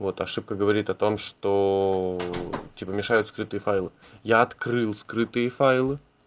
вот ошибка говорит о том что типа мешают скрытые файлы я открыл скрытые файлы